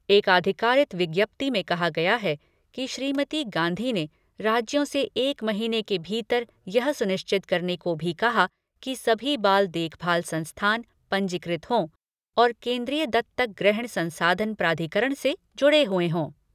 एक आधिकारिक विज्ञप्ति में कहा गया है कि श्रीमती गांधी ने राज्यों से एक महीने के भीतर यह सुनिश्चित करने भी कहा कि सभी बाल देखभाल संस्थान पंजीकृत हों और केन्द्रीयदत्तक ग्रहण संसाधन प्राधिकरण से जुड़े हुए हों।